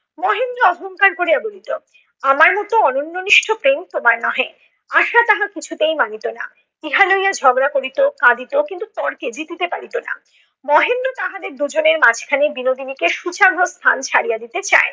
চিৎকার করিয়া বলিল, আমার মত অনন্যনিষ্ঠ প্রেম তোমার নহে। আশা তাহা কিছুতেই মানিত না। ইহা লইয়া ঝগড়া করিত, কাঁদিত কিন্তু তর্কে জিতিতে পারিত না। মহেন্দ্র তাহাদের দুজনের মাঝখানে বিনোদিনীকে শুচাগ্র স্থান ছাড়িয়া দিতে চায়না।